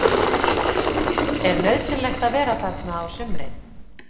Er nauðsynlegt að vera þarna á sumrin?